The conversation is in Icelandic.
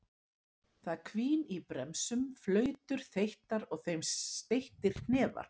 Það hvín í bremsum, flautur þeyttar og að þeim steyttir hnefar.